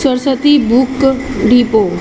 Saraswati book depot--